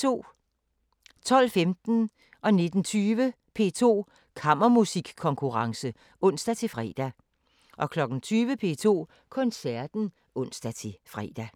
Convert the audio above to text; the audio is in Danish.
12:15: P2 Kammermusikkonkurrence (ons-fre) 19:20: P2 Kammermusikkonkurrence (ons-fre) 20:00: P2 Koncerten (ons-fre)